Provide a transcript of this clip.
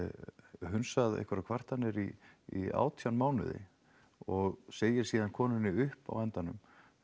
hundsað einhverjar kvartanir í í átján mánuði og segir síðan konunni upp á endanum